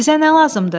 Sizə nə lazımdır?